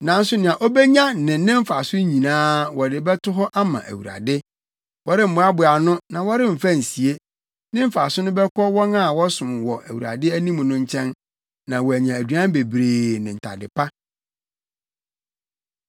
Nanso nea obenya ne ne mfaso nyinaa wɔde bɛto hɔ ama Awurade; wɔremmoaboa ano na wɔremfa nsie. Ne mfaso no bɛkɔ wɔn a wɔsom wɔ Awurade anim no nkyɛn, na wɔanya aduan bebree ne ntade pa.